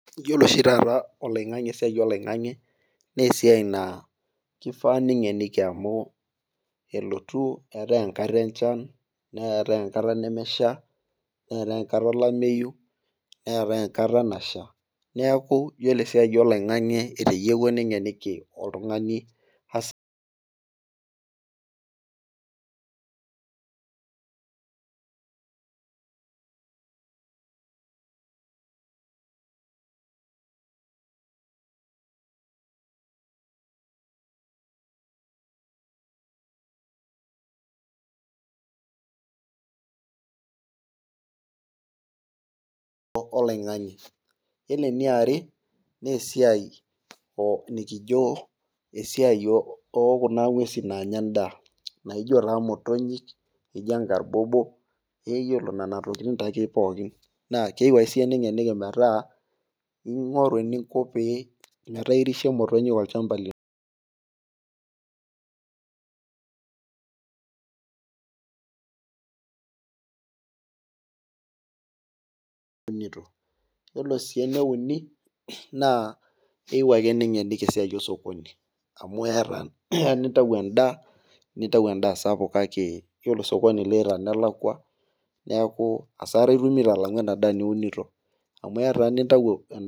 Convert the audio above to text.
iyiolo oshi taata oloing'ang'e esiai oloing'ang'e naa esiai naa, kifaa ningeniki amu elotu eetae enkata enchan, neetae enkata nemesha, netae enkata olameyu. neetae enata nasha. neeku iyiolo esiai oloing'ang'e. etayiewua ning'eniki oltungani, angasoloingange iyiolo eniaare, naa esiai nikijo esiai oo kuna nguesi naanya edaa. naijo taa mtonyik, naijo nkarbobo. iyiolo nena tokitin taake pookin, naa keiu ake siiyie ning'eniki metaa ing'oru eninko pee, metaa irishe motonyik olchampa lino. naa iyiolo sii eneuni naa keyieu ake ningeniki esiai osokoni. amu eeta. keya nintau edaa. nintau edaa sapuk. iyiolo osokoni liita naa kelakua. neeku asara itumoto. amu eya taa nintau edaa.